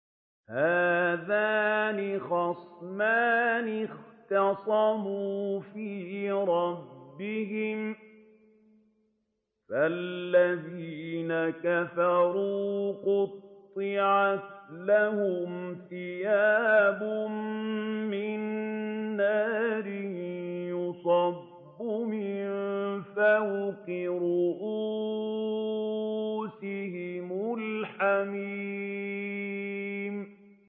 ۞ هَٰذَانِ خَصْمَانِ اخْتَصَمُوا فِي رَبِّهِمْ ۖ فَالَّذِينَ كَفَرُوا قُطِّعَتْ لَهُمْ ثِيَابٌ مِّن نَّارٍ يُصَبُّ مِن فَوْقِ رُءُوسِهِمُ الْحَمِيمُ